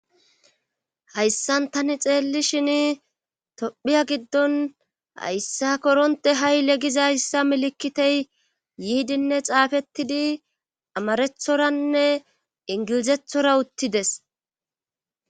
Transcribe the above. Hayssan tani xeelli shin tophiya giddon hayssa koronte ha7ile giza yssa milikitey yiidinne xaafettidi amarethoranne ingilizethora uttides